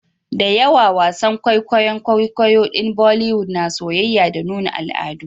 Dayawa wasan kwaikwayon kwaikwayo din boliwood na soyayya da nuna al'adu